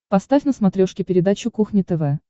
поставь на смотрешке передачу кухня тв